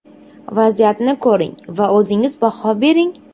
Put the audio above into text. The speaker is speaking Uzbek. Vaziyatni ko‘ring va o‘zingiz baho bering.